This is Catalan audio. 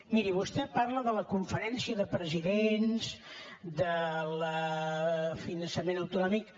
miri vostè parla de la conferència de presidents del finançament econòmic